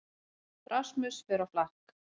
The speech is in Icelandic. Rasmus fer á flakk